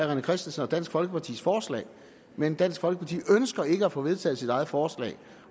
rené christensen og dansk folkepartis forslag men dansk folkeparti ønsker ikke at få vedtaget sit eget forslag